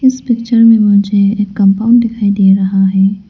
इस पिक्चर में मुझे एक कंपाउंड दिखाई दे रहा है।